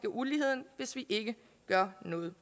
uligheden hvis vi ikke gør noget